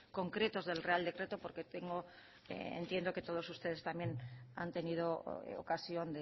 concretos del real decreto porque tengo entiendo que todos ustedes también han tenido ocasión